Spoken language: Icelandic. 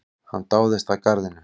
Hann dáðist að garðinum.